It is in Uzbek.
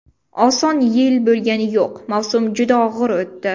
Oson yil bo‘lgani yo‘q, mavsum juda og‘ir o‘tdi.